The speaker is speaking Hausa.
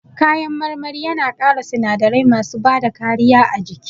Kayan marmari yana ƙara sinadarai masu bada kariya a jiki